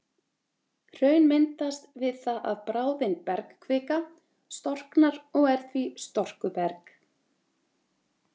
hraun myndast við það að bráðin bergkvika storknar og er því storkuberg